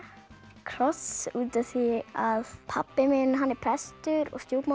kross út af því að pabbi minn er prestur og